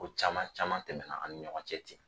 Ko caman caman tɛmɛna an ni ɲɔgɔn cɛ ten